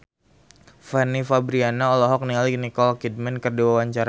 Fanny Fabriana olohok ningali Nicole Kidman keur diwawancara